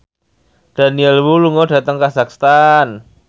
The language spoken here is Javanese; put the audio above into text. Daniel Wu lunga dhateng kazakhstan